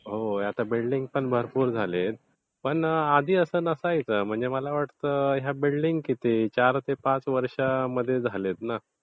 होय. आता बिल्डिंग पण भरपूर झालेत. पण आधी असं नसायचं. म्हणजे मला वाटतं या बिल्डिंग किती चार ते पाच वर्षांमध्ये झाल्यात ना.